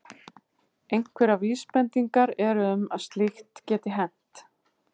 Einhverjar vísbendingar eru um að slíkt geti hent.